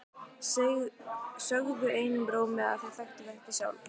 Sögðu einum rómi að þau þekktu þetta sjálf.